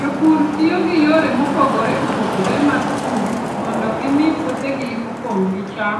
Jopur tiyo gi yore mopogore opogore mag pur mondo gimi puothegi opong' gi cham